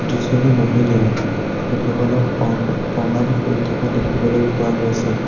দুজনী মহিলাই ভগৱানক প্ৰ প্ৰণাম কৰি থকা দেখিবলৈ পোৱা গৈছে।